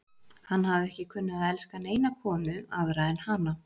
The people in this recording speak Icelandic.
Hann hafði ekki kunnað að elska neina konu aðra en hana.